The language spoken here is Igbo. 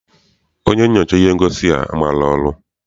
Onye nyochara ihe ngosi a maghị ọrụ.